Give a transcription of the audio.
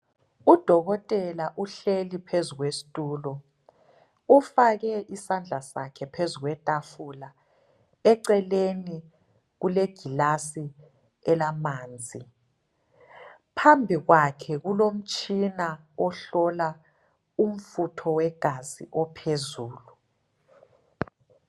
Udokotela uhleli phezu kwesitulo ufake isandla sakhe phezu kwetafula eceleni kule gilasi elamanzi phambi kwakhe kulomtshina ohlola umfutho wegazi ophezulu.